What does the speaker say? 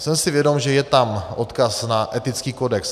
Jsem si vědom, že je tam odkaz na etický kodex.